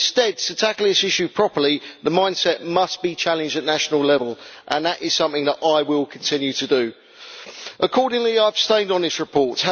Instead, to tackle this issue properly, the mind set must be challenged at national level, and that is something that I will continue to do. Accordingly, I abstained on this report.